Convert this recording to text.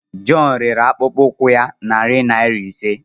John rere akpụkpọ ụkwụ ya narị naira ise.